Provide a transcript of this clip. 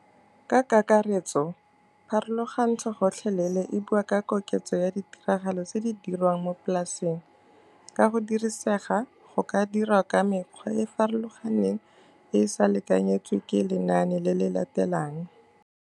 Ka kakaretso, pharologantsho gotlhelele e bua ka koketso ya ditiragalo tse di dirwang mo polaseng. Ka go dirisega, go ka dirwa ka mekgwa e e farologaneng e e sa lekanyetswe ke lenane le le latelang.